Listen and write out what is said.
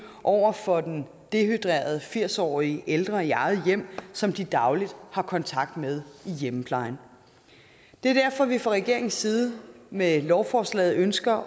over for den dehydrerede firs årige ældre i eget hjem som de dagligt har kontakt med i hjemmeplejen det er derfor at vi fra regeringens side med lovforslaget ønsker